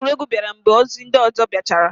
Ozi egwuregwu bịara mgbe ozi ndị ọzọ biachara.